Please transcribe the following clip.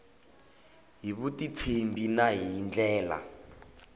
hi vutitshembi na hi ndlela